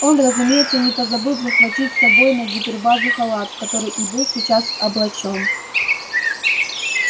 он разумеется не позабыл захватить с собой на гипербазу халат в который и был сейчас облачён